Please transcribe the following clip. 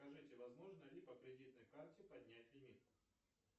скажите возможно ли по кредитной карте поднять лимит